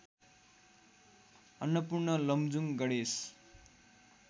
Annapurna Lamjung Ganesh